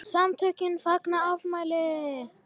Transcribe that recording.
SAMTÖKIN FAGNA AFMÆLI